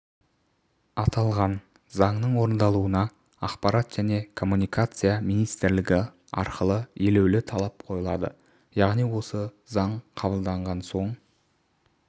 аталған заңның орындалуына ақпарат және коммуникация министрлігі арқылы елеулі талап қойылады яғни осы заң қабылданған соң